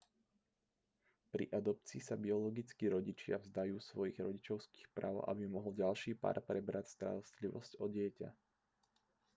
pri adopcii sa biologickí rodičia vzdajú svojich rodičovských práv aby mohol ďalší pár prebrať starostlivosť o dieťa